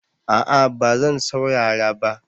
A'a ba zan saurara ba